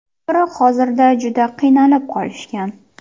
Biroq hozirda juda qiynalib qolishgan.